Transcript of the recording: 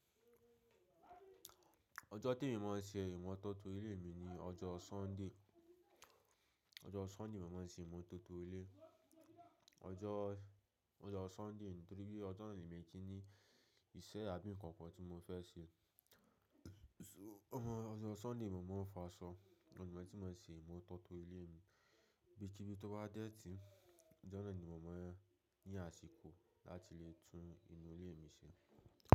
Ojo temi mo n se imototo ile mi ni ojo sunday. Ọjọ́ Sunday mo máa ń ṣe ìmótótó ilé, ọjọ́, ọjọ́ Sunday nítorí bí ọjọ́ náà ni mo ti ní ìṣe abín kankan tí mo fẹ́ ṣe. To ọmọ ọjọ́ Sunday ni mo máa ń fa aṣọ, o ni tí máa ṣe ìmótótó ilé mi, ibíkibi to bá dẹ́ẹ̀tì, ọjọ́ náà ni mo máa yí àsìkò láti lè tún inú ilé mi ṣe.